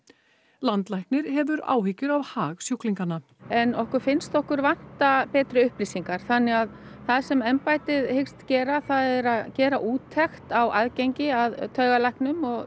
landlæknir hefur áhyggjur af hag sjúklinganna en okkur finnst okkur vanta betri upplýsingar þannig að það sem embættið hyggst gera það er að gera úttekt á aðgengi að taugalæknum og